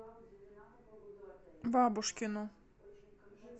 бабушкину